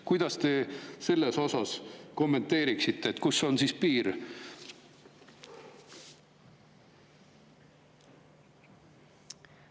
Kuidas te seda kommenteeriksite, kus on siis piir?